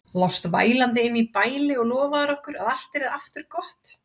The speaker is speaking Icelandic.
Lást vælandi inni í bæli og lofaðir okkur að allt yrði aftur gott.